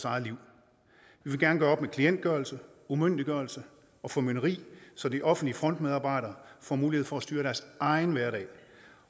eget liv vi vil gerne gøre op med klientgørelse umyndiggørelse og formynderi så de offentlige frontmedarbejdere får mulighed for styre deres egen hverdag